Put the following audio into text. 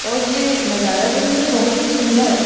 और ये नजारा देखने बहुत ही सुन्दर--